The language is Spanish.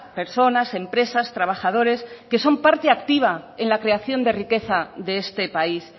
personas empresas trabajadores que son parte activa en la creación de riqueza de este país